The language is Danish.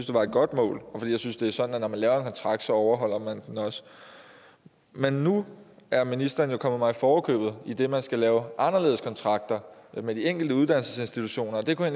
det var et godt mål og jeg synes det er sådan at når man laver en kontrakt så overholder man den også men nu er ministeren jo kommet mig i forkøbet idet man skal lave anderledes kontrakter med de enkelte uddannelsesinstitutioner og det kunne